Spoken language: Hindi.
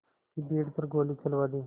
की भीड़ पर गोली चलवा दी